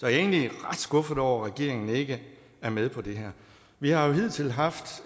er egentlig ret skuffet over at regeringen ikke er med på det her vi har jo hidtil haft